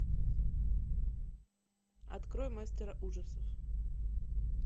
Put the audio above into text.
открой мастера ужасов